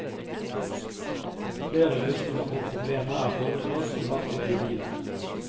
Flere løsninger på problemet er foreslått og satt ut i livet.